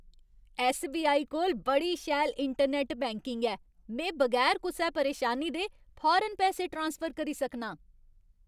SBI. कोल बड़ी शैल इंटरनैट्ट बैंकिंग ऐ। में बगैर कुसै परेशानी दे फौरन पैसे ट्रांसफर करी सकनां।